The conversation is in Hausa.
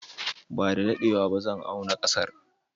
Ba da daɗewa ba zan auna ƙasar.